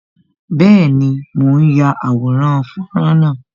Bẹẹni, mo ń ya àwòrán fọ́nrán náà